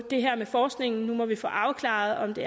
det her med forskningen nu må vi få afklaret om det